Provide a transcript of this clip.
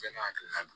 Bɛɛ n'a hakilina don